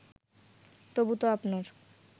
তবু তো আপনার